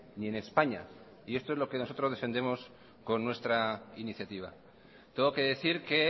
ni en españa y esto es lo que nosotros defendemos con nuestra iniciativa tengo que decir que